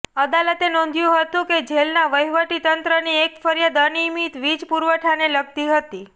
અદાલતે નોંધ્યું હતું કે જેલના વહીવટીતંત્રની એક ફરિયાદ અનિયમિત વીજ પુરવઠાને લગતી હતી